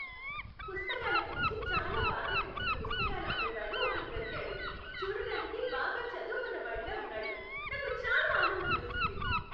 పుస్తకాల గురించి చాలా బాగా తెలిసిన పుస్తకాలు అమ్మేవాడు ఒకడు దొరికాడు. చూడటానికి బాగా చదువుకున్నవాడిలా ఉన్నాడు. నాకు చాలా ఆనందం వేసింది.